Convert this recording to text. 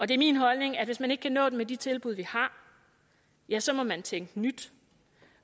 det er min holdning at hvis man ikke kan nå dem med de tilbud vi har ja så må man tænke nyt